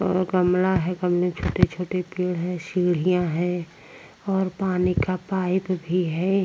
और गमला है गमले छोटे-छोटे पेड़ है सीढ़ियां है और पानी का पाइप भी है।